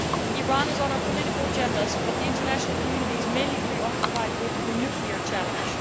Iran is on our political agendas but the international community is mainly preoccupied with the nuclear challenge.